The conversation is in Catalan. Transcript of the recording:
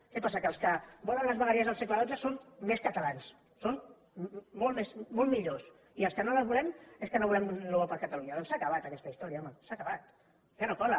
què passa que els que volen les vegueries del segle xii són més catalans són molt millors i els que no les volem és que no volem el bo per a catalunya doncs s’ha acabat aquesta història home s’ha acabat ja no cola